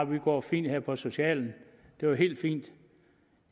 vi går fint her på socialen det er helt fint